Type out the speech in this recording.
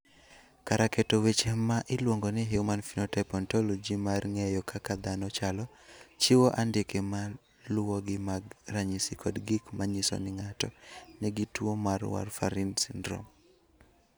Kar keto weche ma iluongo ni Human Phenotype Ontology mar ng�eyo kaka dhano chalo, chiwo andike ma luwogi mag ranyisi kod gik ma nyiso ni ng�ato nigi tuo mar Warfarin syndrome.